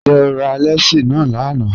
Njẹ́ o rà lẹ́sí na lánà?